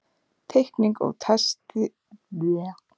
Teikning og texti: Trausti Jónsson.